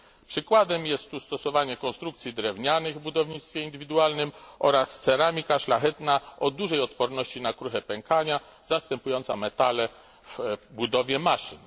Przykładem jest tu stosowanie konstrukcji drewnianych w budownictwie indywidualnym oraz ceramika szlachetna o dużej odporności na kruche pękanie, zastępująca metale w budowie maszyn.